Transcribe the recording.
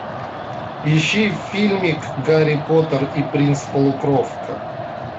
ищи фильмик гарри поттер и принц полукровка